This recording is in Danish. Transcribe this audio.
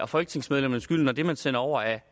folketingsmedlemmernes skyld når det man sender over er